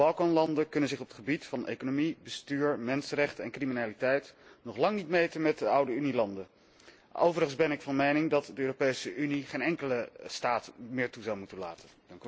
De Balkanlanden kunnen zich op het gebied van economie, bestuur, mensenrechten en criminaliteit nog lang niet meten met de oude Unielanden. Overigens ben ik van mening dat de Europese Unie geen enkele staat meer toe zou moeten laten.